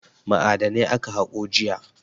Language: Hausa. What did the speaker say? Ma'adanai aka haƙo jiya.